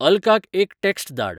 अल्काक एक टॅक्स्ट धाड